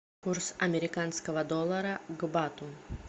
курс американского доллара к бату